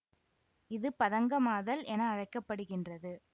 இது பதங்கமாதல் என அழைக்க படுகின்றது